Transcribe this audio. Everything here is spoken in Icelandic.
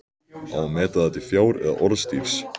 Á að meta það til fjár eða orðstírs?